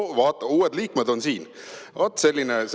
No vaat, uued liikmed on siin!